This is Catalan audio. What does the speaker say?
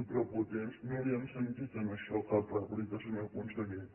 i prepotents no li hem sentit en això cap rèplica senyor conseller